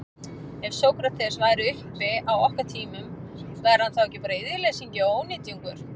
Ef Sókrates væri uppi á okkar tímum, væri hann þá ekki bara iðjuleysingi og ónytjungur?